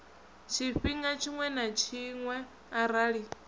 tshifhinga tshiṅwe na tshiṅwe arali